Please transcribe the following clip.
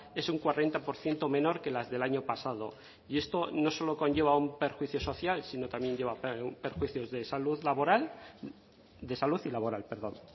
es un cuarenta por ciento menor que las del año pasado y esto no solo conlleva un perjuicio social sino también lleva perjuicios de salud laboral de salud y laboral perdón